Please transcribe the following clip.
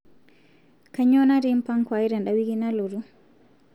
kainyoo natii mpango ai tenda wiki nalotu